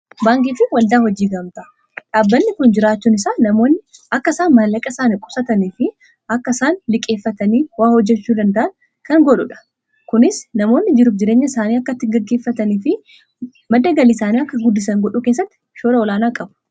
Baankii fi waldaa hojii gamtaa dhaabbanni kun jiraachuun isaa namoonni akka isaan mallaqa isaani qusatanii fi akka isaan liqeeffatanii waa hojjachuu danda'an kan godhuudha. Kunis namoonni jiruuf jireenya isaanii akka ittiin gaggeeffatanii fi madda galii isaanii akka guddisan godhuu keessatti shoora olaanaa qabu.